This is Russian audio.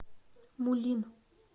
мулин